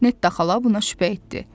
Netta xala buna şübhə etdi.